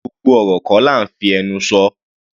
Gbogbo ọ̀rọ̀ kọ́ là ńfí ẹnu sọ.